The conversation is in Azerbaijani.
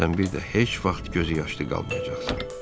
Sən bir də heç vaxt gözüyaşlı qalmayacaqsan.